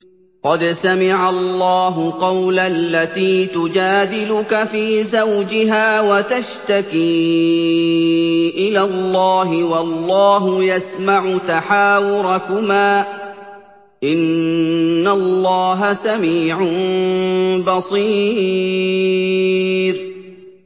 قَدْ سَمِعَ اللَّهُ قَوْلَ الَّتِي تُجَادِلُكَ فِي زَوْجِهَا وَتَشْتَكِي إِلَى اللَّهِ وَاللَّهُ يَسْمَعُ تَحَاوُرَكُمَا ۚ إِنَّ اللَّهَ سَمِيعٌ بَصِيرٌ